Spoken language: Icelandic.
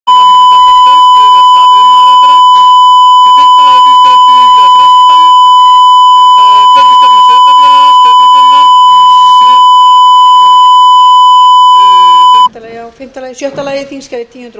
hér var galli í hljóðinu borist hafa þrjú bréf um frestun á því að skrifleg svör við fyrirspurnum berist það er frá efnahags og viðskiptaráðuneyti skriflegt svar við fyrirspurn á þingskjali níu hundruð og